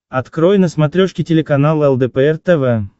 открой на смотрешке телеканал лдпр тв